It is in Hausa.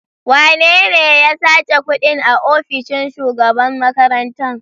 Wanene ya sace kuɗin a ofishin shugaban makarantar?